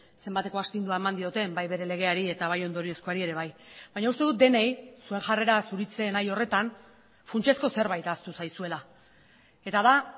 zenbateko astindua eman dioten bai bere legeari eta bai ondoriozkoari ere bai baina uste dut denei zuen jarrera zuritzen nahi horretan funtsezko zerbait ahaztu zaizuela eta da